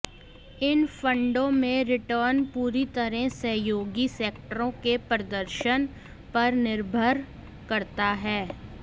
इन फंडों में रिटर्न पूरी तरह सहयोगी सेक्टरों के प्रदर्शन पर निर्भर करता है